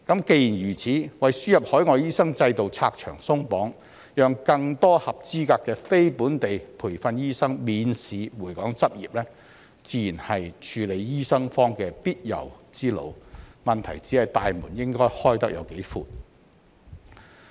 既然如此，為輸入海外醫生制度拆牆鬆綁，讓更多合資格的非本地培訓醫生免試回港執業，自然是處理醫生荒的必由之路，問題只是"大門"應該開得有多闊。